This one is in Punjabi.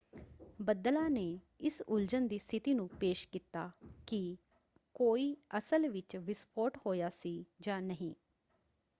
ਬੱਦਲਾਂ ਨੇ ਇਸ ਉਲਝਣ ਦੀ ਸਥਿਤੀ ਨੂੰ ਪੇਸ਼ ਕੀਤਾ ਕਿ ਕੋਈ ਅਸਲ ਵਿੱਚ ਵਿਸਫੋਟ ਹੋਇਆ ਸੀ ਜਾਂ ਨਹੀਂ।